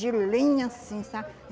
De linha, assim, sabe?